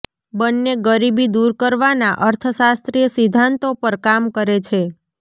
બન્ને ગરીબી દૂર કરવાના અર્થશાસ્ત્રીય સિદ્ધાંતો પર કામ કરે છે